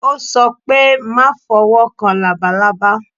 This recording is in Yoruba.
Ó sọ pé má fowó kan labalábá.